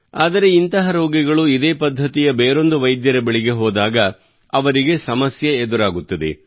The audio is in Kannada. ಆದರೆ ಇಂತಹ ರೋಗಿಗಳು ಇದೇ ಪದ್ಧತಿಯ ಬೇರೊಂದು ವೈದ್ಯರ ಬಳಿಗೆ ಹೋದಾಗ ಅವರಿಗೆ ಸಮಸ್ಯೆ ಎದುರಾಗುತ್ತದೆ